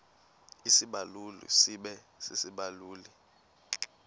isibaluli sibe sisibaluli